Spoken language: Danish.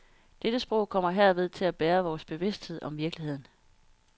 Dette sprog kommer herved til at bære vores bevidsthed om virkeligheden.